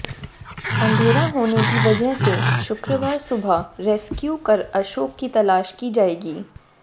अंधेरा होने की वजह से शुक्रवार सुबह रेस्क्यू कर अशोक की तलाश की जाएगी